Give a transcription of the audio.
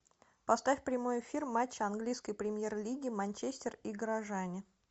поставь прямой эфир матча английской премьер лиги манчестер и горожане